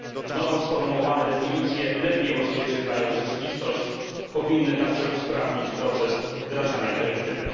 Nowo sformułowane definicje lepiej odzwierciedlają rzeczywistość, powinny także usprawnić proces wdrażania dyrektywy.